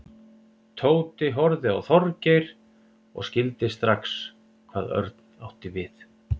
Tóti horfði á Þorgeir og skildi strax hvað Örn átti við.